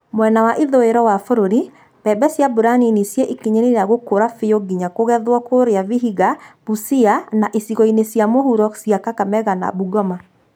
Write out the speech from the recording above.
Mwena wa ithũĩro wa bũrũri, mbembe cia mbura nini cĩe ikinyainĩ rĩa gũkũra biũ nginya kũgethwo kũrĩa Vihiga, Busia, na icigoinĩ cia mũhuro cia Kakamega na Bungoma.